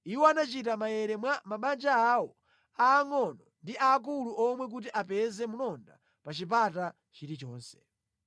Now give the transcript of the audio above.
Iwo anachita maere mwa mabanja awo aangʼono ndi aakulu omwe kuti apeze mlonda pa chipata chilichonse.